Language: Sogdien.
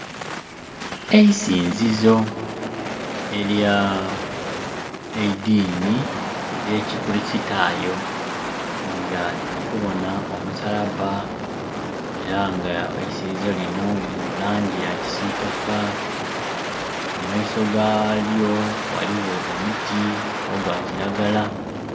Eisinzizo ery'eidini erye kikulisitayo nga tuli kubona omusalaba era nga eisinzizo lino liri mu langi eya kisitaka, mu maiso galyo ghaligho omuti ogwa kiragala.